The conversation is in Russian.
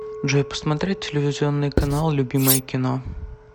джой посмотреть телевизионный канал любимое кино